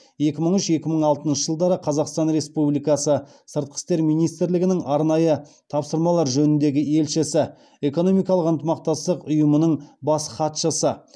екі мың үш екі мың алтыншы жылдары қазақстан республикасы сыртқы істер министрлігінің арнайы тапсырмалар жөніндегі елшісі экономикалық ынтымақтастық ұйымының бас хатшысы